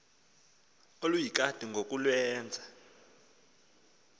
oluyikati ngoku lwenza